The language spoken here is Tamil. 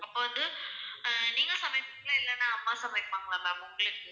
அப்போ வந்து ஆஹ் நீங்க சமைப்பீங்களா? இல்லன்னா அம்மா சமைப்பாங்களா ma'am உங்களுக்கு?